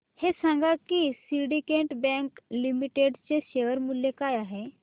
हे सांगा की सिंडीकेट बँक लिमिटेड चे शेअर मूल्य काय आहे